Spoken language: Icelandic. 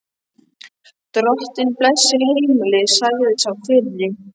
Drottinn blessi heimilið, sagði sá fyrri.